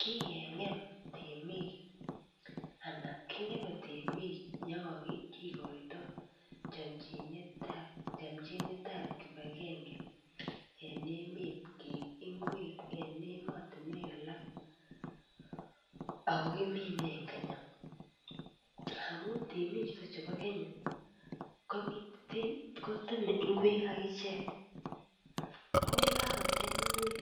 Kikeng'em temik anan king'eme temik yekakikoito chamchinetab kipagenge eng emet keib ngwek en emotinwek alak akokiminen eng Kenya. Amun temik chebo Kenya koteme ngwek akichek ako yekakotem ngweek